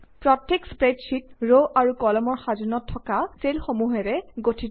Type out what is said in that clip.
প্ৰত্যেক স্প্ৰেডশ্বিট ৰ আৰু কলামৰ সাজোনত থকা চেলসমূহেৰে গঠিত